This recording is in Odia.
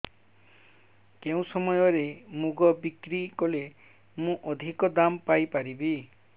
କେଉଁ ସମୟରେ ମୁଗ ବିକ୍ରି କଲେ ମୁଁ ଅଧିକ ଦାମ୍ ପାଇ ପାରିବି